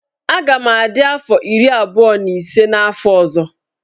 Aga m adị afọ iri abụọ na ise n'afọ ọzọ.